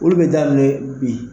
Bolo bɛ daminɛ bi.